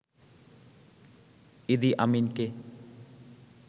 ইদি আমিনকে